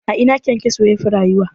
A ina KyanKyaso yafi rayuwa?